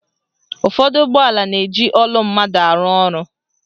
Ụfọdụ ụgbọala na-eji olu mmadụ arụ ọrụ.